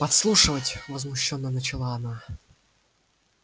подслушивать возмущённо начала она